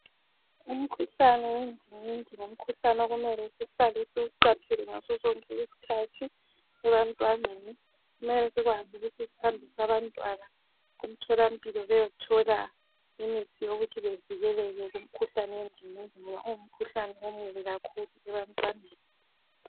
Umkhuhlane wendingindi ngumkhuhlane okumele sihlale siwuqaphele ngaso sonke isikhathi ebantwaneni kumele sikwazi ukuthi sihambise abantwana emtholampilo beyethola imithi yokuthi bevikeleke kumkhuhlane wendingindi ngoba ungu mkhuhlane omubi kakhulu ebantwaneni.